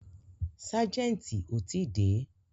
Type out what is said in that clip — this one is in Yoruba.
Ságẹ̀ntì ò tí dé.